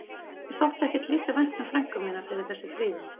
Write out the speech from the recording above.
Mér þótti ekki lítið vænt um frænku mína fyrir þessi fríðindi.